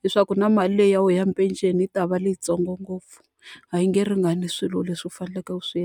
Leswaku na mali leyi ya wuena ya penceni yi ta va leyitsongo ngopfu, a yi nge ringani swilo leswi u faneleke ku swi.